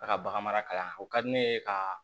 A ka bagan mara kalan na o ka di ne ye ka